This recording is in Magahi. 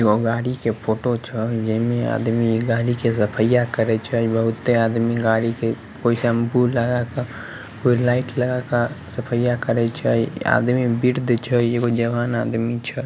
गाड़ी के फोटो छ ये में आदमी गाड़ी के सफाई कराइ छ बहुत आदमी गाड़ी के कोई शैम्पू लगा के कोई लाइट लगा के सफाई करे छे आदमी छे एगो जवान आदमी छे।